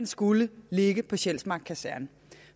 skulle ligge på sjælsmark kaserne